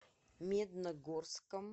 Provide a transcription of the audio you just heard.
медногорском